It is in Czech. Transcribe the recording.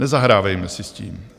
Nezahrávejme si s tím.